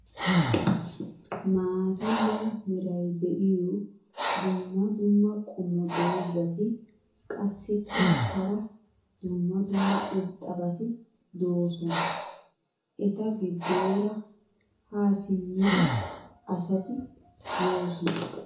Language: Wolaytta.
maata mala meray diyo dumma dumma qommo dozzati qassikka hara dumma dumma irxxabati doosona. ETA GIDOORA HAA SIMMIDI ASATI YOOSONA.